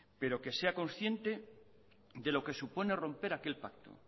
pero que sea consciente de lo que supone romper aquel pacto